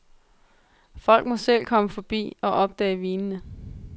Folk må selv komme forbi og opdage vinene.